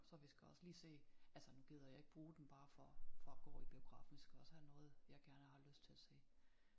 Så vi skal også lige se altså nu gider jeg ikke bruge den bare for for at gå i biografen de skal også have noget jeg gerne har lyst til at se